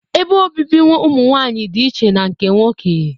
Ebe obibi ụmụ nwanyị dị iche na nke nwoke